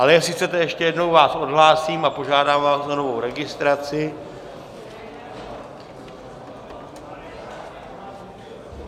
Ale jestli chcete, ještě jednou vás odhlásím a požádám vás o novou registraci.